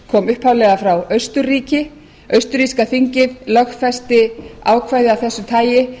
kom upphaflega frá austurríki austurríska þingið lögfesti ákvæði af þessu tagi